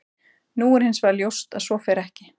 Nú er hins vegar ljóst að svo fer ekki.